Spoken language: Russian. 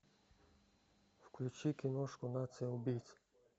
включи киношку нация убийц